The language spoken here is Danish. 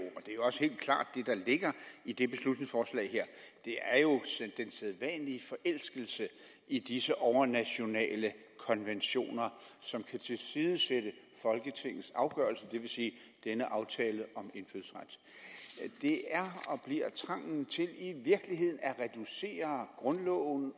helt klart ligger i det beslutningsforslag her er jo den sædvanlige forelskelse i disse overnationale konventioner som kan tilsidesætte folketingets afgørelse det vil sige denne aftale om indfødsret det er og bliver trangen til i virkeligheden at reducere grundloven